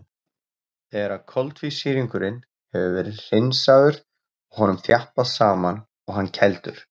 Þegar koltvísýringurinn hefur verið hreinsaður er honum þjappað saman og hann kældur.